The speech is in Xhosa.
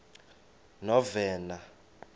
novena